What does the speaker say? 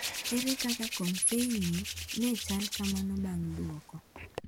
Ere kaka konsaitno ne chal kamano bang’ duoko.